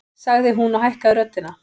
sagði hún og hækkaði röddina.